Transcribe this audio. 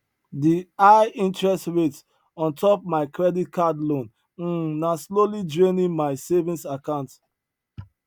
di high interest rate on top mai credit card loan um na slowly draining mai savings account